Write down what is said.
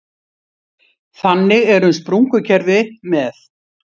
Þannig er um sprungukerfi með